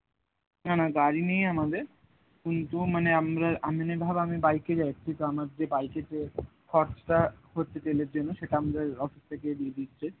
না না গাড়ি নেই আমাদের কিন্তু মানে আমরা এমনি ধর আমি bike এ যাচ্ছি, কিন্তু আমার যে bike এ যে খরচা হচ্ছে তেলের জন্য সেটা আমরা ওই office এ থেকে দিয়ে দিচ্ছে